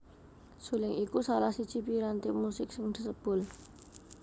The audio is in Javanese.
Suling iku salah siji piranti musik sing disebul